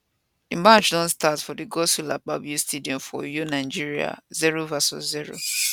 di match don start for di godswill akpabio stadium for uyo nigeria 0 vs 0